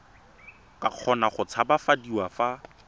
ka kgona go tshabafadiwa fa